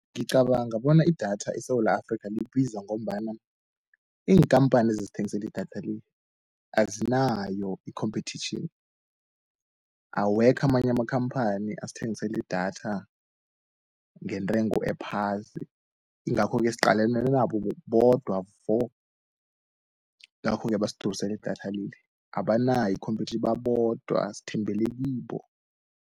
Ngicabanga bona idatha eSewula Afrika libiza ngombana, iinkampani ezisthengiseli idatha le, azinayo i-competition, awekho amanye amakhamphani asthengiseli idatha ngentrengo ephasi, ingakho-ke siqalene nabo bodwa vo, ngakho-ke basidurisela idatha leli, abanayo i-competiton babodwa sthembele kibo.